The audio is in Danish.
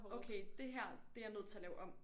Okay dét her det er jeg nødt til at lave om